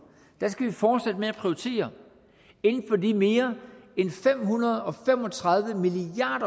skal vi fortsætte med at prioritere inden for de mere end fem hundrede og fem og tredive milliard